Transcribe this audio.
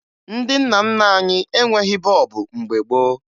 Ndị nna nna anyị enweghi bọọbụ mgbe gboo